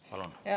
Palun!